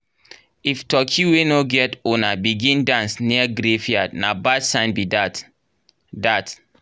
if turkey wey no get owner begin dance near graveyard na bad sign be that. that.